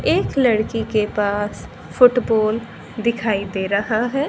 एक लड़की के पास फुटबॉल दिखाई दे रहा है।